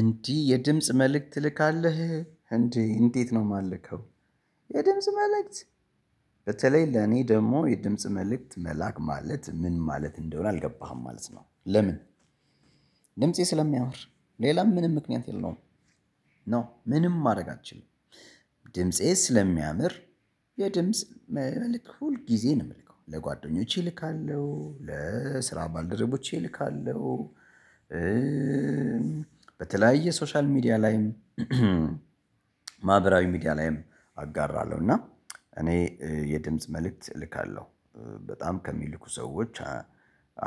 እንዲህ የድምጽ መልእክት ትልካለህ እንዴ? እንዴት ነው የማልከው። የድምጽ መልእክት በተለይ ለኔ ደግሞ የድምጽ መልእክት መላክ ማለት ምን? ማለት እንደሆነ አልገባህም ማለት ነው። ለምን? ድምፄ ስለሚያወር ሌላም ምንም ምክንያት የለውም። ኖ ምንም ማድረግ አንችልም። ድምፄ ስለሚያምር የድምጽ መልእክት ሁል ጊዜ ነው የምልከው ለጓደኞቼ እልካለሁ ለስራ ባልደረቦቼ እልካለሁ። በተለያየ ሶሻል ሚዲያ ላይም ማህበራዊ ሚዲያ ላይም አጋራለሁ። እና የድምጽ መልእክት እልካለሁ። በጣም ከሚልኩ ሰዎች